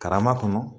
Karama kɔnɔ